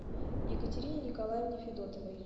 екатерине николаевне федотовой